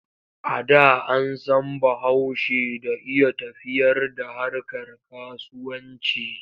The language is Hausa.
A da an san Bahaushe da iya tafiyar da harkar kasuwanci.